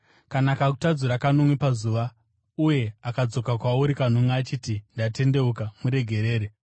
Kana akakutadzira kanomwe pazuva, uye akadzoka kwauri kanomwe achiti, ‘Ndatendeuka,’ muregerere.”